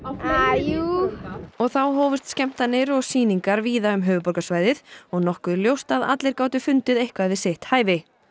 eh jú og þá hófust skemmtanir og sýningar víða um höfuðborgarsvæðið og nokkuð ljóst að allir gátu fundið eitthvað við sitt hæfi